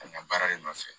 A ɲa baara de nɔfɛ